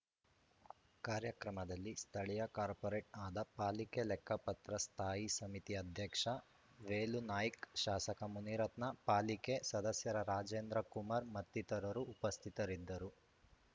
ಕಾರ್ಯಕ್ರಮದಲ್ಲಿ ಸ್ಥಳೀಯ ಕಾರ್ಪೊರೇಟರ್‌ ಆದ ಪಾಲಿಕೆ ಲೆಕ್ಕಪತ್ರ ಸ್ಥಾಯಿ ಸಮಿತಿ ಅಧ್ಯಕ್ಷ ವೇಲುನಾಯ್ಕ ಶಾಸಕ ಮುನಿರತ್ನ ಪಾಲಿಕೆ ಸದಸ್ಯರ ರಾಜೇಂದ್ರ ಕುಮಾರ್‌ ಮತ್ತಿತರರು ಉಪಸ್ಥಿತರಿದ್ದರು